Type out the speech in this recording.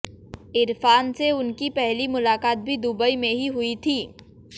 इरफान से उनकी पहली मुकालात भी दुबई में ही हुई थी